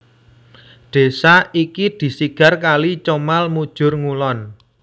Desa iki disigar kali Comal mujur ngulon